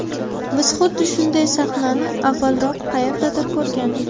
Biz xuddi shunday sahnani avvalroq qayerdadir ko‘rgandik.